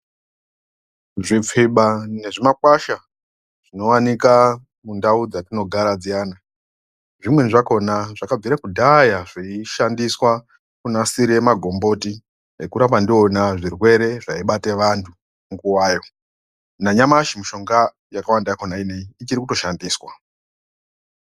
Zvipfiba nezvimakwasha zvinowanikwa mundau dzatinogara dziyana zvimweni zvakona zvakabvira kudhaya zveishandiswa kunasira magomboti ukurapa ndiona zvirwere zvekurapa antu munguwayo nanyamashi mishonga yacho nguwa inei ichiri kushandiswa.